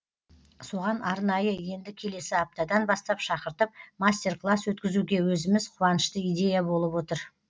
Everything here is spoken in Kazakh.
соған арнайы енді келесі аптадан бастап шақыртып мастер класс өткізуге өзіміз қуанышты идея болып отыр